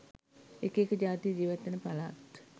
එක එක ජාතිය ජීවත්වෙන පළාත්